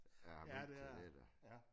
Der har råd til det da